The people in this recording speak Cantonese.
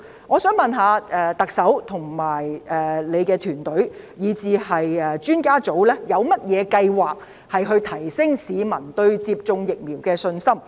我想問，特首及她的團隊，以至顧問專家委員會，有甚麼計劃提升市民對接種疫苗的信心？